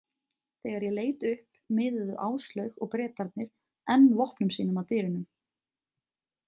Þegar ég leit upp miðuðu Áslaug og Bretarnir enn vopnum sínum að dyrunum.